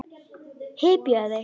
Hypjaðu þig.